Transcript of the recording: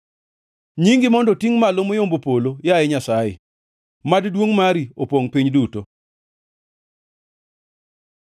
Nyingi mondo otingʼ malo moyombo polo, yaye Nyasaye; mad duongʼ mari opongʼ piny duto.